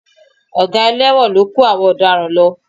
Ọ̀gá ẹlẹ́wọ̀n ló kó gbogbo àwọn ọ̀daràn lọ